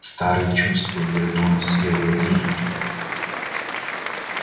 старые чувства вернулись и овладели им